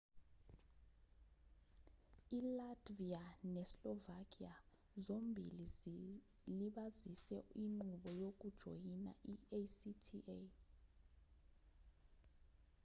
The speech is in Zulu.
ilatvia neslovakia zombili zilibazise inqubo yokujoyina i-acta